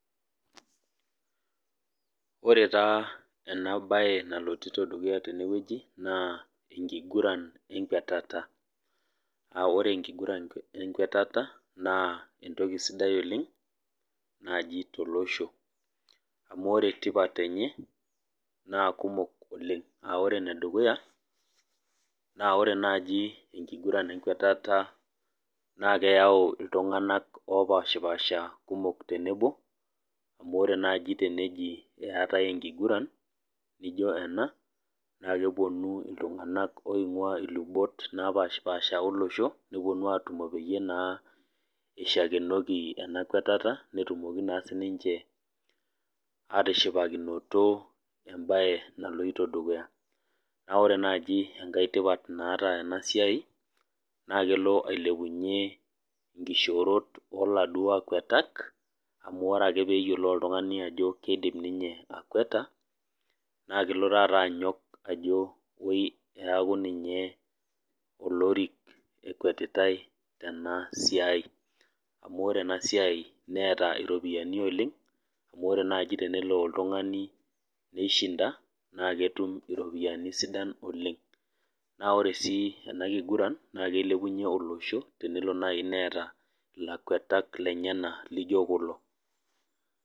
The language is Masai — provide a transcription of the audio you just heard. Ore taa enabae nalotito dukuya tenewueji, naa enkiguran enkwatata. Na ore enkiguran enkwatata, naa entoki sidai oleng, naji tolosho. Amu ore tipat enye, naa kumok oleng. Ah ore enedukuya, naa ore naji enkiguran enkwatata naa keyau iltung'anak opashipasha kumok tenebo, amu ore naji teneji eetae enkiguran nijo ena, naa keponu iltung'anak oing'ua ilubot napashipasha olosho, neponu atumo peyie naa ishakenoki ena kwatata, netumoki naa sininche atishipakinoto ebae naloito dukuya. Na ore naji enkae tipat naata enasiai, na kelo ailepunye inkishoorot oladuo akuatak, amu ore ake peyiolou oltung'ani ajo eidim ninye akuata, na kelo taata anyok ajo oi eeku ninye lorik ekuetitai enasiai. Amu ore enasiai neeta iropiyiani oleng, amu ore naji tenelo oltung'ani pishinda, na ketum iropiyiani sidan oleng. Na ore si ena kiguran, na kilepunye olosho, tenelo nai neeta ilakuetak lenyanak lijo kulo.